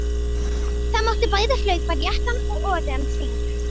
Það mátti bæði hlaupa réttan og öfugan hring.